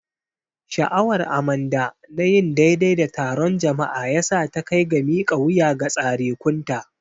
Sha'awar Amanda na yin daidai da taron jama'a ya sa ta kai ga mika wuya ga tsarekunta.